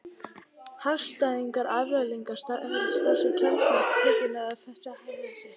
Hagstæðar afleiðingar sem fylgja strax í kjölfar tiltekinnar hegðunar festa þá hegðun í sessi.